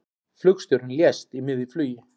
Flugstjórinn lést í miðju flugi